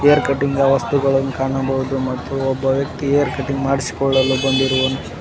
Hair ಕಟಿಂಗ್ನ ವಸ್ತುಗಳನ್ನು ಕಾಣಬಹುದು ಮತ್ತು ಒಬ್ಬ ವ್ಯಕ್ತಿ ಹೇರ್ ಕಟಿಂಗ್ ಮಾಡಿಸಿಕೊಳ್ಳಲು ಬಂದಿರುವನು.